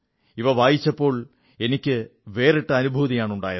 ഇവ വായിച്ചപ്പോൾ എനിക്കു വേറിട്ട അനുഭൂതിയാണ് ഉണ്ടായത്